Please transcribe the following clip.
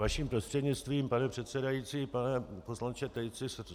Vaším prostřednictvím, pane předsedající, pane poslanče Tejci.